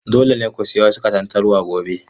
Dole ne ku sayi wasu katantanwa gobe.